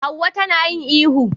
Hauwa ta na yin ihu